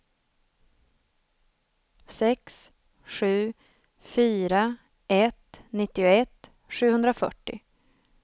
sex sju fyra ett nittioett sjuhundrafyrtio